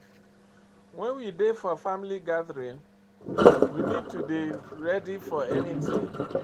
When we dey for family gathering we need to dey ready for anything